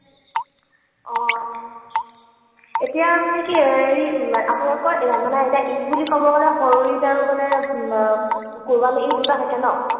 অ। এতিয়া মানে কি হেৰি আপোনালোকৰ মানে এতিয়া ঈদ বুলি কব গলে সৰু ঈদ আৰু মানে কোৰৱানী ঈদ দুটা থাকে ন?